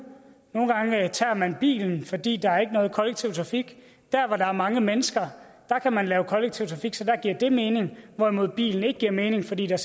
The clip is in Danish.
og man bilen fordi der ikke er nogen kollektiv trafik der hvor der er mange mennesker kan man lave kollektiv trafik så der giver dét mening hvorimod bilen ikke giver mening fordi der